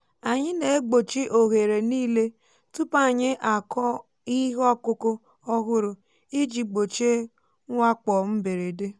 anyị na-egbochi oghere niile um tupu anyị akụ ihe ọkụkụ ọhụrụ iji gbochie mwakpo mberede.